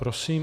Prosím.